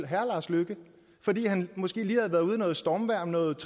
herre lars løkke fordi han måske lige havde været ude i noget stormvejr om noget